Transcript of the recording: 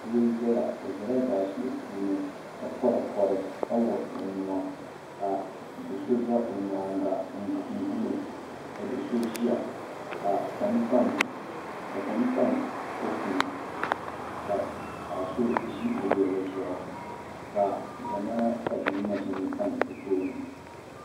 doo n zaya o zala zaashee puuni ka poripori ka wuɣi o nua ka do'so za o nyaanga n guli o ka do'so ʒia ka kom tam kopu ni ka paɣa so ʒi bɛ luɣuli zuɣu ka ʒemana tabibi maʒini tam o tooni.